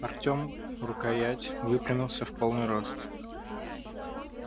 артем рукоять дрезины и выпрямился в полный рост